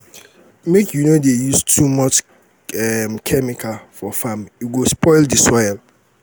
make you no dey use too much um chemical for farm e go spoil di soil.